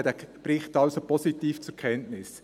Wir nehmen den Bericht also positiv zur Kenntnis.